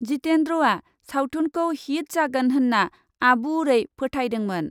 जितेन्द्रआ सावथुनखौ हिट जागोन होन्ना आबुड़ै फोथायदोंमोन ।